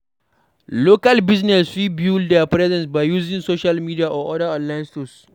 Local business fit build their presence by using social media or oda online stores